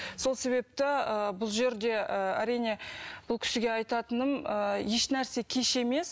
сол себепті ы бұл жерде ы әрине бұл кісіге айтатыным ы ешнәрсе кеш емес